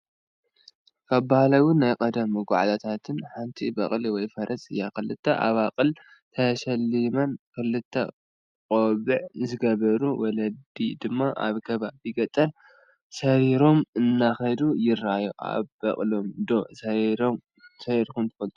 ካብ ባህላውን ናይ ቀደም መጓዓዝያታትን ሓንቲ በቕሊ ወይ ፈረስ እያ፡፡ ክልተ ኣባቕል ተሸሊመን ክልተ ቆቢዕ ዝገበሩ ወለዲ ድማ ኣብ ከባቢ ገጠር ሰሪሮም እንደኸዱ ይራኣዩ፡፡ ኣብ በቕሊ ዶ ሰሪርኩም ትፈልጡ?